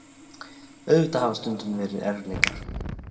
Auðvitað hafa stundum verið erfiðleikar.